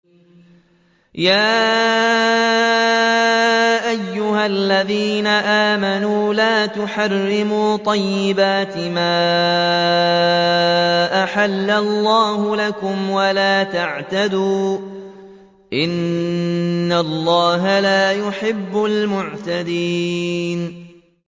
يَا أَيُّهَا الَّذِينَ آمَنُوا لَا تُحَرِّمُوا طَيِّبَاتِ مَا أَحَلَّ اللَّهُ لَكُمْ وَلَا تَعْتَدُوا ۚ إِنَّ اللَّهَ لَا يُحِبُّ الْمُعْتَدِينَ